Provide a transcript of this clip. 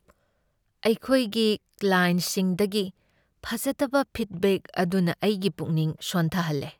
ꯑꯩꯈꯣꯏꯒꯤ ꯀ꯭ꯂꯥꯏꯟꯠꯁꯤꯡꯗꯒꯤ ꯐꯖꯗꯕ ꯐꯤꯗꯕꯦꯛ ꯑꯗꯨꯅ ꯑꯩꯒꯤ ꯄꯨꯛꯅꯤꯡ ꯁꯣꯟꯊꯍꯜꯂꯦ꯫